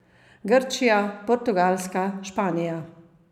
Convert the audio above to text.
Grčija, Portugalska, Španija.